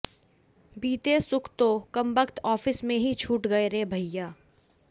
बीते सुख तो कंबख्त आफिस में ही छूट गए रे भैये